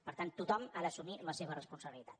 per tant tothom ha d’assumir la seva responsabilitat